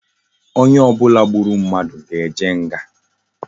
Onye obula gburu mmadu ga eje nga